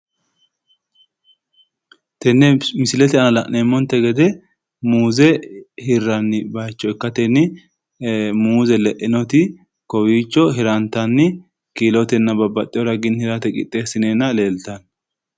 Tenne misilete aana la'neemmonte gede muuze hirranni bayicho ikkatenni muuze le'inoti kowiicho hirantanni kiilotenna babbaxxiwo raginni hirate qixxeessineenna leeltanno.